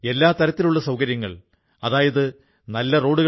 പുൽവാമയിൽ ഉക്ഖൂ ഗ്രാമം പെൻസിൽ ഗ്രാമം എന്നറിയപ്പെടുന്നു